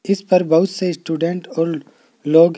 जीस पर बहुत से स्टूडेंट और लोग--